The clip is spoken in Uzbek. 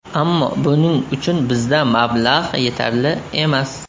Ammo buning uchun bizda mablag‘ yetarli emas.